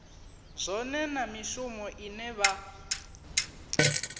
zwone na mishumo ine vha